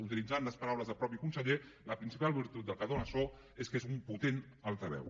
utilitzant les paraules del mateix conseller la principal virtut del canó de so és que és un potent altaveu